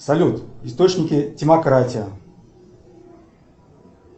салют источники демократии